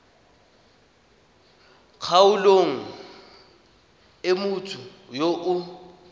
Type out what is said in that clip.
kgaolong e motho yo o